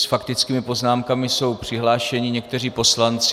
S faktickými poznámkami jsou přihlášeni někteří poslanci.